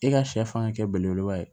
E ka sɛ fan ka kɛ belebeleba ye